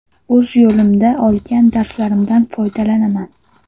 O‘z yo‘limda olgan darslarimdan foydalanaman.